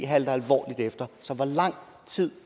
halter alvorligt efter så hvor lang tid